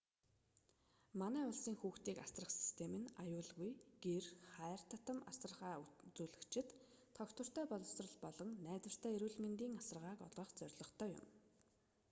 манай бусдын хүүхдийг асрах систем нь аюулгүй гэр хайр татам асаргаа үзүүлэгчид тогтвортой боловсрол болон найдвартай эрүүл мэндийн асаргааг олгох зорилготой юм